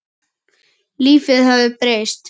Lífið hafði breyst.